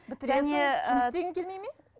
жұмыс істегің келмей ме